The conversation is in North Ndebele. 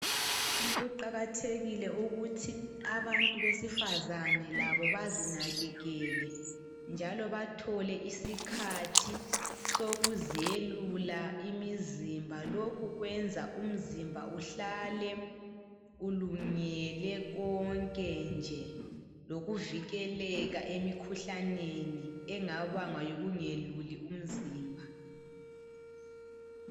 Kuqakathekile ukuthi abantu besifazane labo bazinakekele njalo bathole isikhathi sokuzelula imizimba. Lokhu kwenza umzimba uhlale ulungele konke nje ,lokuvikeleka emikhuhlaneni engabangwa yikungeluli umzimba.